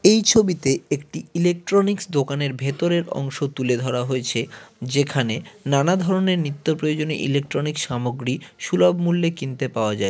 এই ছবিতে একটি ইলেকট্রনিক্স দোকানের ভেতরের অংশ তুলে ধরা হয়েছে যেখানে নানা ধরনের নিত্য প্রয়োজনীয় ইলেকট্রনিক্স সামগ্রী সুলভ মূল্যে কিনতে পাওয়া যায়।